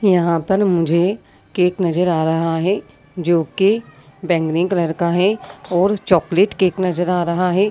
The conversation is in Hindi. यहाँ पर मुझे केक नजर आ रहा हैं जोकि बैंगनी कलर का हैं और चॉकलेट केक नज़र आ रहा हैं।